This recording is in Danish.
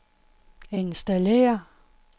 installér